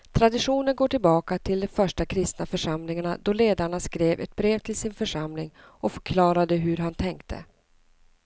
Traditionen går tillbaka till de första kristna församlingarna då ledaren skrev ett brev till sin församling och förklarade hur han tänkte.